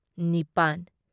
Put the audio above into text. ꯅꯤꯄꯥꯟ